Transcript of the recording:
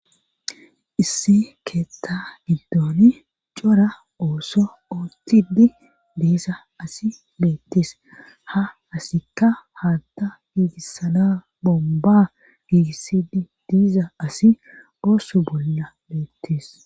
Issi keetta giddooni cora ooso ootidi diisa asi beettes ha asikka haatta giigissana bomba giigissidi diiza asi oosu bolla beettees.